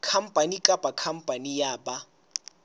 khampani kapa khampani ya ba